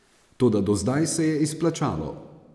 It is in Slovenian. Toda do zdaj se je izplačalo.